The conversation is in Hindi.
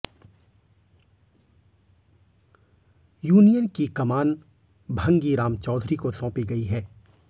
यूनियन की कमान भंगी राम चौधरी को सौंपी गई है